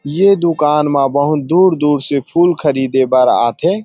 ये दुकान मा बहुत दूर-दूर से फूल ख़रीदे बर आथे।